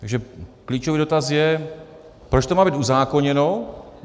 Takže klíčový dotaz je - proč to má být uzákoněno?